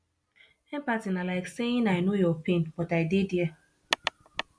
empathy na like saying i no know your pain but i dey there